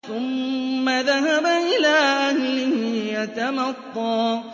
ثُمَّ ذَهَبَ إِلَىٰ أَهْلِهِ يَتَمَطَّىٰ